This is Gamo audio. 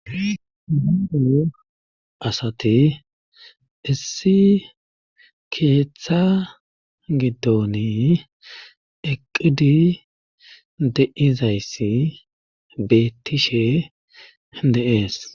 Nu asati issi keeththa giddoni eqqidi deizayssi beettishe deees.